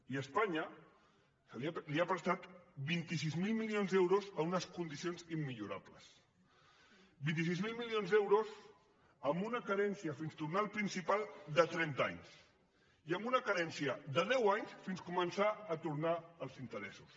i espanya li ha prestat vint sis mil milions d’euros en unes condicions immillorables vint sis mil milions d’euros amb una carència fins a tornar el principal de trenta anys i amb una carència de deu anys fins a començar a tornar els interessos